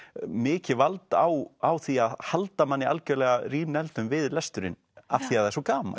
mikið vald á á því að halda manni algjörlega við lesturinn af því það er svo gaman